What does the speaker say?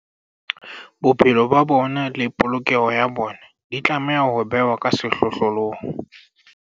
Bophelo ba bona le polokeho ya bona di tlameha ho bewa ka sehlohlolong.